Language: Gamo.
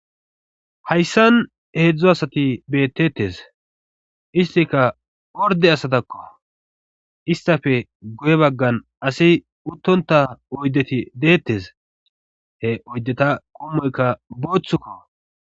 Hayssan heedzdzo asati beettettes istika orde asatakko istafe goye baggan asi uttonta oyddeti deettes he oydeta qummoykka booththukko.